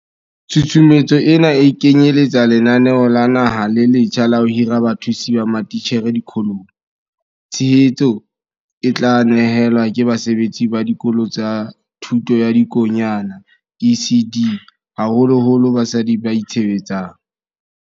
Tshusumetso ena e kenyele tsa lenaneo la naha le letjha la ho hira bathusi ba matitjhere dikolong. Tshehetso e tla ne helwa ke basebetsi ba Dikolo tsa Thuto ya Dikonyana, ECD, haholoholo basadi ba itshebetsang.